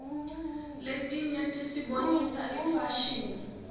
letinye tisibonisa ifashini